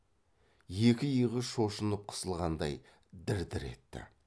екі иығы шошынып қысылғандай дір дір етті